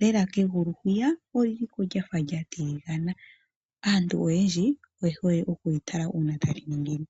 lela kegulu hwiya olyiliko lyafa lyatilingana, aantu oyendji oyehole okulitala una taliningine.